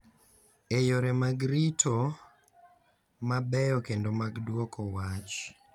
E yore mag rito, ma beyo, kendo mag dwoko wach,